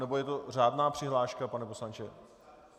Nebo je to řádná přihláška, pane poslanče?